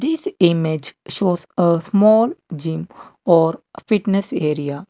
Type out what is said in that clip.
This image shows a small gym or fitness area.